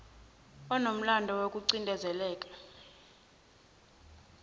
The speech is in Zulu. onomlando woku cindezeleka